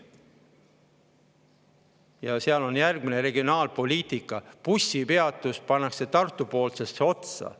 Ja seal on järgmine regionaalpoliitika: bussipeatus pannakse Tartu-poolsesse otsa.